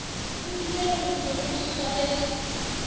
boditše gore ke go swaretše